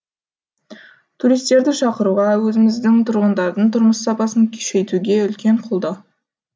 туристерді шақыруға өзіміздің тұрғындардың тұрмыс сапасын күшейтуге үлкен қолдау